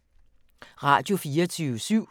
Radio24syv